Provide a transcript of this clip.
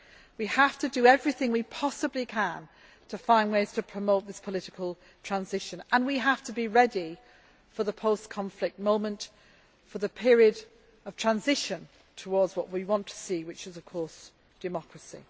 We have to do everything we possibly can to find ways to promote this political transition and we have to be ready for the post conflict moment, for the period of transition towards what we want to see, which is democracy.